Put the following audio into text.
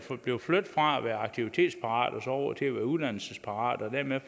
blive flyttet fra at være aktivitetsparat over til at være uddannelsesparat og dermed